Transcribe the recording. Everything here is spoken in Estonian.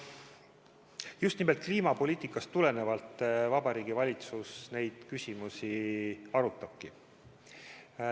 Just nimelt kliimapoliitikast tulenevalt Vabariigi Valitsus neid küsimusi arutabki.